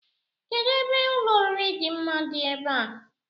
Kedụ ebe ụlọoriri dị mma dị ebe a?